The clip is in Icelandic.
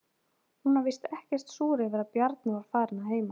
Hún var víst ekkert súr yfir að Bjarni var farinn að heiman.